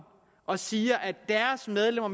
og siger at deres medlemmer